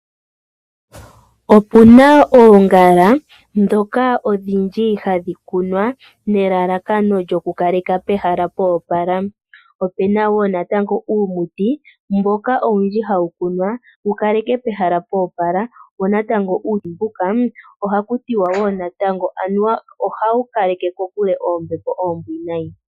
Opuna oongala ndhoka odhindji hadhi kunwa, nelalakano lyokukaleka pehala pwa opala. Opu na wo natango uumuti mboka owundji hawu kunwa wu kaleke pehala pwa opala , wo natango uumuti mbuka ohaku tiwa wo ohawu kaleke kokule oombepo oombwinayi.